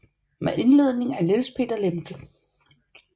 Med indledning af Niels Peter Lemche